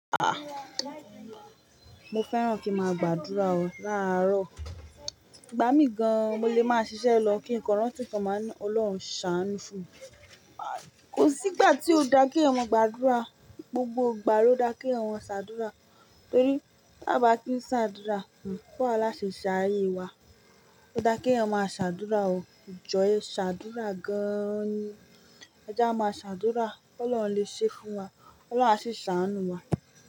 A! Mo fẹ́ràn kí n máa gbàdúrà o làárọ̀. Igba mí gan, mo lè máa ṣiṣẹ́ lọ kí ǹ kan rántí nkan máa ni Ọlọ́run ṣàánú fún mi. Kò sí ìgbà tí ó daa kí èèyàn máa gbàdúrà. Gbogbo ìgbà ló da kí àwọn ṣàdúrà. Torí báa bá kí ń ṣàdúrà, bò wá láa se ṣe ayé wa. Ó da kí èèyàn máa ṣàdúrà o. Jọ e ṣàdúrà gan-an ni. E jia máa ṣàdúrà ki Ọlọ́run lè ṣe fún wa, Ọlọ́run a sì ṣàánú wa.